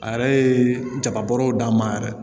A yɛrɛ ye jaba bɔrɛw d'a ma yɛrɛ